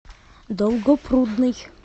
долгопрудный